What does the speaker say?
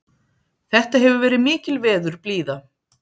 Þetta hefur verið mikil veðurblíða